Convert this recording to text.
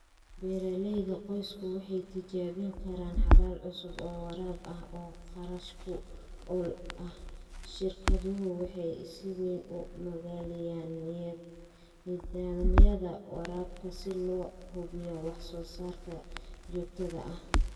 Beeralayda qoysku waxay tijaabin karaan xalal cusub oo waraab ah oo kharash-ku-ool ah. Shirkaduhu waxay si weyn u maalgaliyaan nidaamyada waraabka si loo hubiyo wax-soo-saarka joogtada ah.